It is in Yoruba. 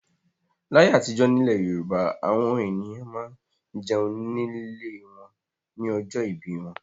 Láyé àtijọ́ nílẹ̀ Yorùbá àwọn ènìyàn máa ń jẹun nílé wọn ní ọjọ́ ìbí wọn.